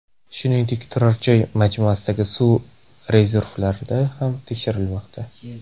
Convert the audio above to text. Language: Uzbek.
Shuningdek, turar-joy majmuasidagi suv rezervuarlari ham tekshirilmoqda.